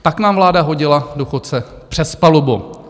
Tak nám vláda hodila důchodce přes palubu.